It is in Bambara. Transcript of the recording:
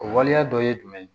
O waleya dɔ ye jumɛn ye